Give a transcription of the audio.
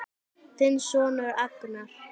Þinn sonur Agnar.